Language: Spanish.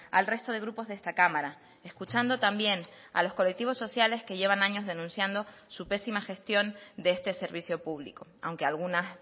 al resto de grupos de esta cámara escuchando también a los colectivos sociales que llevan años denunciando su pésima gestión de este servicio público aunque algunas